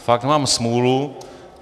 Fakt mám smůlu.